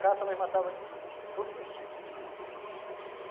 Caça nós matava de todos os tipos.